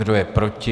Kdo je proti?